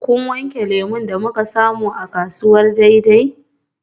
Kun wanke lemu da muka samu daga kasuwar Dei?